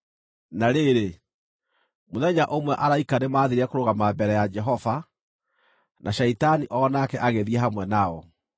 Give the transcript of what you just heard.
Na rĩrĩ, mũthenya ũmwe araika nĩmathiire kũrũgama mbere ya Jehova, na Shaitani o nake agĩthiĩ hamwe nao.